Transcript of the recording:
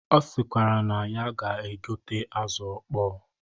Ọ sịkwara na ya ga-egote azụ ọkpọ